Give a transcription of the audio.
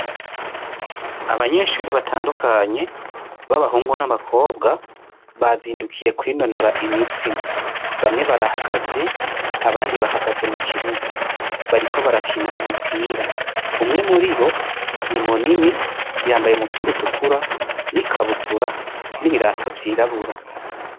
Abanyeshure batandukanye b'abahungu n'abakobwa bazindukiye kwinonora imitsi. Bamwe barahagaze abandi bahagaze mu kibuga bariko barakina umupira. Umwe muribo ni munini yambaye umupira utukura n'ikabutura n'ibirato vyirabura.